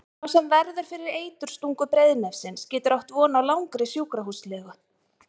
Sá sem verður fyrir eiturstungu breiðnefsins getur átt von á langri sjúkrahúslegu.